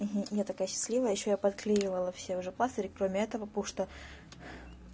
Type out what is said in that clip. угу я такая счастливая а ещё я подклеивала все уже пластыри кроме этого потому что